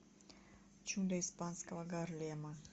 чудо испанского гарлема